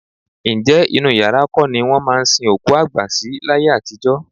Ǹjẹ́ inú yàrá kọ́ ni wọ́n máa ń sin òkú àgbà sí láyé àtijọ́?